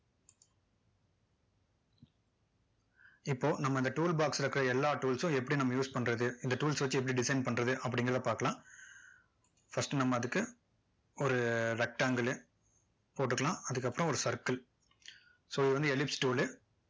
இப்போ நம்ம இந்த tool box ல இருக்க எல்லாம் tools சும் எப்படி நம்ம use பண்றது இந்த tools ச வச்சு எப்படி design பண்றது அப்படிங்கிறதை பார்க்கலாம் first நம்ம அதுக்கு ஒரு rectangle லு போட்டுக்கலாம் அதுக்கப்பறம் ஒரு circle so இது வந்து ellipse tool லு